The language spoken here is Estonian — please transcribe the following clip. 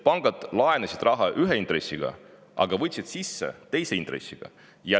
Pangad laenasid raha ühe intressiga, aga võtsid raha sisse teise intressiga.